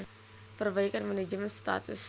Perbaikan Manajemen Status